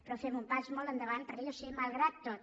però fem un pas molt endavant perquè jo sé malgrat tot